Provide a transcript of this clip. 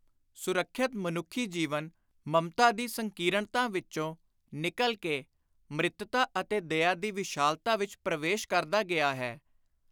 ਸੁਰੱਖਿਅਤ ਮਨੁੱਖੀ ਜੀਵਨ ਮਮਤਾ ਦੀ ਸੰਕੀਰਣਤਾ ਵਿਚੋਂ ਨਿਕਲ ਕੇ ਮਿੱਤ੍ਰਤਾ ਅਤੇ ਦਇਆ ਦੀ ਵਿਸ਼ਾਲਤਾ ਵਿਚ ਪਰਵੇਸ਼ ਕਰਦਾ ਗਿਆ ਹੈ।